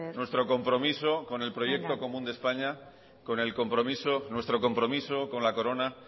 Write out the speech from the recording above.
nuestro compromiso con el proyecto común de españa benga con el compromiso nuestro compromiso con la corona